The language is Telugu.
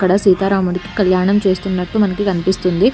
అక్కడ సీతారాముడికి కళ్యాణం చేస్తున్నట్టు మనకి కనిపిస్తుంది.